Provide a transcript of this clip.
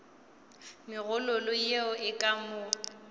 megololo yeo e ka mo